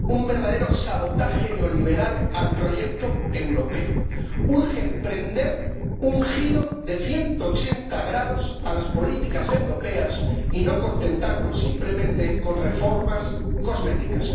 Un verdadero sabotaje neoliberal al proyecto europeo. Urge emprender un giro de 180 grados en las políticas europeas y no contentarnos simplemente con reformas cosméticas.